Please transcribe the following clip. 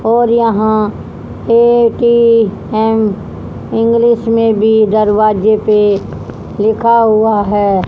और यहां Paytm English में भी दरवाजे पर लिखा हुआ है।